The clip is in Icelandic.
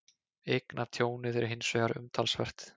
Eignatjónið er hins vegar umtalsvert